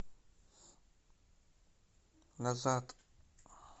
назад